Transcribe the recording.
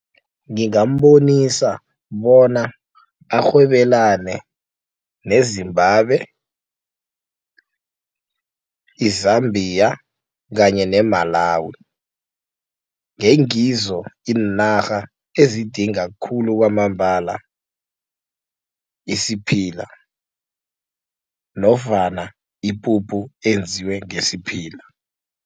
Ngingambonisa bona arhwebelane ne-Zimbabwe, i-Zambia kanye ne-Malawi ngengizo iinarha ezidinga khulu kwamambala isiphila nofana ipuphu enziwe ngesiphila.